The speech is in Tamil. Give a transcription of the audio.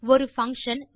ஒரு பங்ஷன்